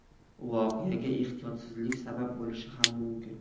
Voqeaga ehtiyotsizlik sabab bo‘lishi ham mumkin.